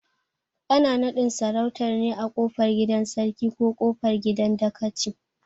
Ana naɗin sarautar ne a kofar gidan Sarkin ko kofar gidan dakaci